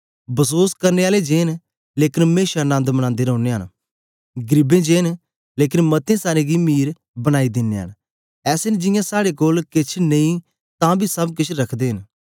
बसोस करने आलें जे न लेकन मेशा नन्द मनांदे रौनयां न गरीबें जे न लेकन मतें सारें गी मीर बनाई दिनयां न ऐसे न जियां साड़े कोल केछ नेई तां बी सब केछ रखदे न